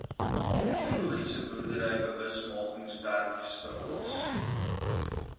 biologiese boerdery bewusmakingswerkswinkels